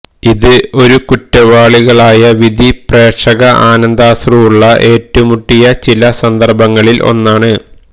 ഇത് ഒരു കുറ്റവാളികളായ വിധി പ്രേക്ഷക ആനന്ദാശ്രുവുള്ള ഏറ്റുമുട്ടിയ ചില സന്ദർഭങ്ങളിൽ ഒന്നാണ്